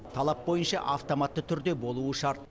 талап бойынша автоматты түрде болуы шарт